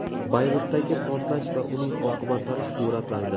Bayrutdagi portlash va uning oqibatlari suratlarda.